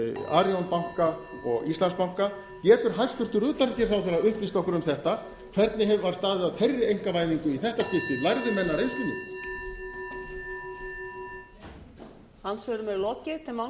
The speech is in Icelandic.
arion banka og íslandsbanka getur hæstvirtur utanríkisráðherra upplýst okkur um þetta hvernig var staðið að þeirri einkavæðingu í þetta skipti lærðu menn af reynslunni